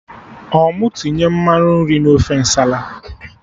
I mụ tinye mmanụ nri na ofe Nsala?